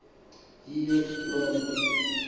yiyo loo nto